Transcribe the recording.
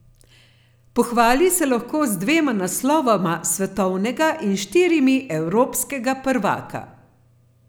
Pohvali se lahko z dvema naslovoma svetovnega in štirimi evropskega prvaka.